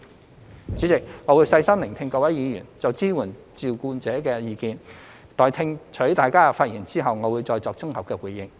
代理主席，我會細心聆聽各位議員就支援照顧者的意見。待聽取大家的發言後，我會再作綜合回應。